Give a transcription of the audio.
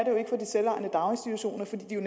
det er